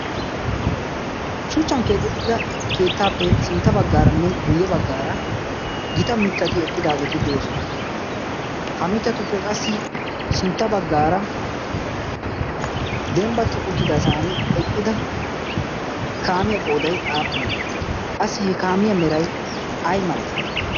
shuchchan keexettida keettaappe sintta baggaaranne guyye baggaara gita mittati eqqidaageeti de7oosona. ha mittatuppe qassi sintta baggaara dembbatti uttidasan eqqida kaamiyaa qoodai aappunee? qassi he kaamiyaa merai ai malai?